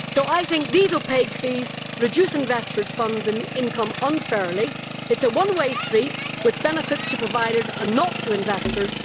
So I think these opaque fees reduce investors' funds and income unfairly. It is a one way street with benefits to providers and not to investors.